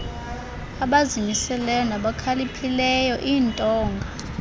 abazimiseleyo nabakhaliphileyo iintonga